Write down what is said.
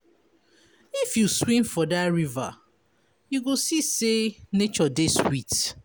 If you swim for dat river, you go see sey nature dey sweet.